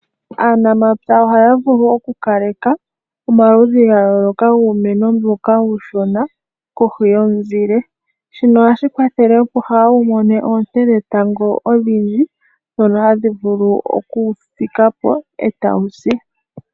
Aanamapya oha ya vulu okukaleka omaludhi ga yooloka giimeno mbyoka uushona kohi yomuzile shino oha shi kwathele opo kaawu mone oonte dhetango odhindji ndhono hadhi vulu okuwu fikapo e tawu si.